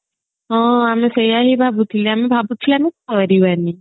ହଁ ଆମେ ସେଇୟା ହିଁ ଭାବୁଥିଲେ ଆମେ ଭାବୁଛେ ଆମେ କରିବାନି